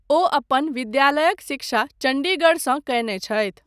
ओ अपन विद्यालयक शिक्षा चण्डीगढसँ कयने छथि।